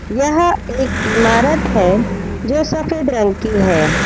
यह एक इमारत है जो सफेद रंग की है।